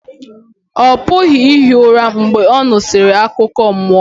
ọ pụghị ihi ụra mgbe ọ nụsịrị akụkọ mmụọ